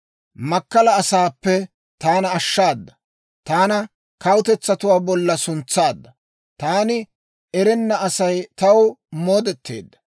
Makkala asaappe taana ashshaadda. Taana kawutetsatuwaa bollan suntsaadda; taani erenna Asay taw moodeteedda.